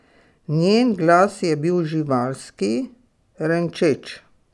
Njen glas je bil živalski, renčeč.